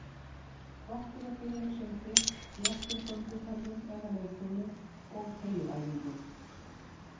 Gott er að byrja með sundi, léttum gönguferðum eða leikfimi og teygjuæfingum.